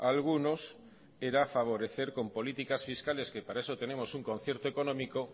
a algunos era favorecer con políticas fiscales que para eso tenemos un concierto económico